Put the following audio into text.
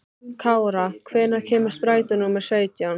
Kára, hvenær kemur strætó númer sautján?